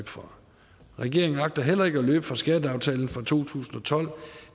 fra regeringen agter heller ikke at løbe fra skatteaftalen fra to tusind og tolv da